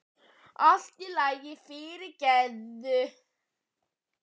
Allt í lagi, allt í lagi, fyrirgefðu.